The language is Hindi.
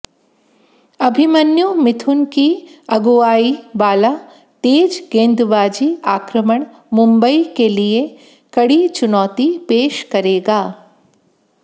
अभिमन्यु मिथुन की अगुआई वाला तेज गेंदबाजी आक्रमण मुंबई के लिये कड़ी चुनौती पेश करेगा